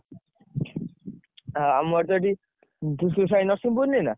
ଆମର ତ ଏଠି ଦିଶୁ ସ୍ୱଇଁ ର ସୁବୁ ନିଏନା।